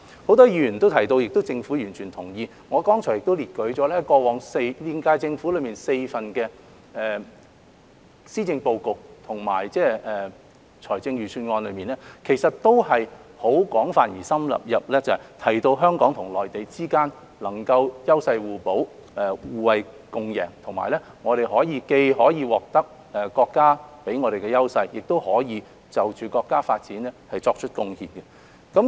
很多議員提到而政府亦完全同意，我剛才也列舉了現屆政府4份施政報告和財政預算案內均有廣泛而深入地提到，香港與內地之間能夠優勢互補、互惠共贏，我們既可以獲得國家給予我們的優勢，亦可以就國家的發展作出貢獻。